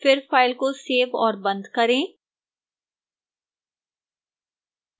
फिर file को save और बंद करें